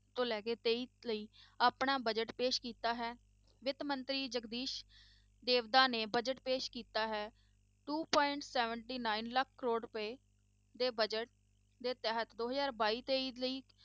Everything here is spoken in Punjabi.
ਤੋਂ ਲੈ ਕੇ ਤੇਈ ਲਈ ਆਪਣਾ budget ਪੇਸ਼ ਕੀਤਾ ਹੈ, ਵਿੱਤ ਮੰਤਰੀ ਜਗਦੀਸ ਦੇਵਦਾ ਨੇ budget ਪੇਸ਼ ਕੀਤਾ ਹੈ two point seventy nine lakh crore ਰੁਪਏ ਦੇ budget ਦੇ ਤਹਿਤ ਦੋ ਹਜ਼ਾਰ ਬਾਈ ਤੇਈ ਲਈ